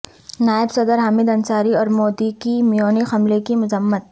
نائب صدر حامد انصاری اور مودی کی میونخ حملے کی مذمت